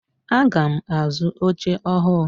Aga m azu oche ọhụụ.